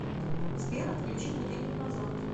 сбер отключи будильник на завтра